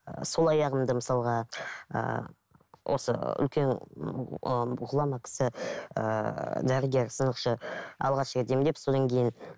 ыыы сол аяғымды мысалға ыыы осы үлкен ыыы ғұлама кісі ыыы дәрігер сынықшы алғаш рет емдеп содан кейін